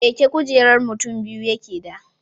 Keke kujerar mutin biyu yakeda